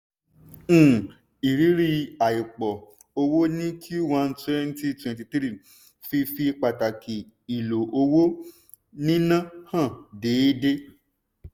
um ìrírí àìpọ̀ owó ní q1 2023 fi fi pàtàkì ìlọ owó níná hàn déédé.